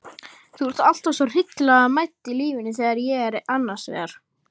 Þú ert alltaf svo hryllilega mædd í lífinu þegar ég er annars vegar.